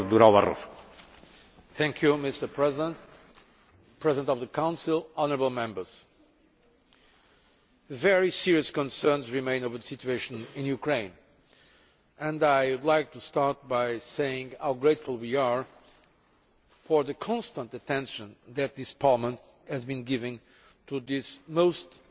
Mr President, President of the Council, honourable Members, very serious concerns remain over the situation in Ukraine, and I would like to start by saying how grateful we are for the constant attention that this Parliament has been giving to this most important crisis.